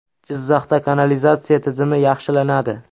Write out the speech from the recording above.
Jizzaxda kanalizatsiya tizimi yaxshilanadi.